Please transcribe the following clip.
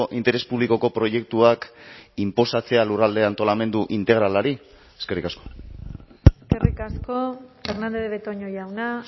interes publikoko proiektuak inposatzea lurralde antolamendu integralari eskerrik asko eskerrik asko fernandez de betoño jauna